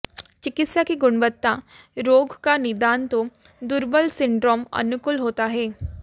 चिकित्सा की गुणवत्ता रोग का निदान तो दुर्बल सिंड्रोम अनुकूल होता है